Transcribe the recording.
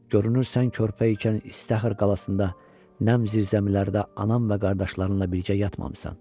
Görünür sən körpə ikən İştəxır qalasında nəmli zirzəmilərdə anam və qardaşlarınla birgə yatmamısan.